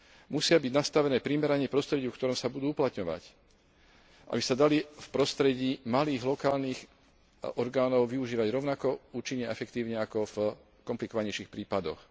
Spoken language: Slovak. Musia byť nastavené primerane prostrediu, v ktorom sa budú uplatňovať, aby sa dali v prostredí malých lokálnych orgánov využívať rovnako účinne a efektívne ako v komplikovanejších prípadoch.